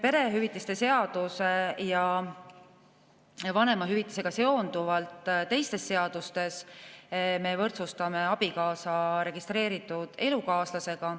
Perehüvitiste seaduse ja vanemahüvitisega seonduvalt me teistes seadustes võrdsustame abikaasa registreeritud elukaaslasega.